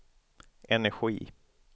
energi